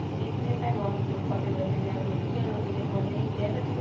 সেই তোৱে তাই মনতো দুখ পাতি লৈ । সি আৰু ৰখি থাকিব নে, সি আৰু বিয়ায়ে পাতিলে।